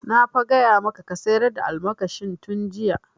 Na fa gaya maka ka sayar da almakashin tun jiya!